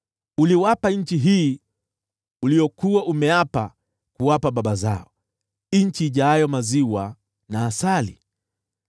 Uliwapa nchi hii uliyokuwa umeapa kuwapa baba zao, nchi inayotiririka maziwa na asali.